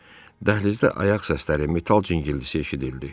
Dəhlizdə ayaq səsləri, metal cingiltisi eşidildi.